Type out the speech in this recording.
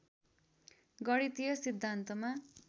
गणितीय सिद्धान्तमा